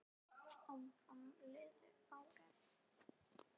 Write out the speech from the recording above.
Áfram liðu árin.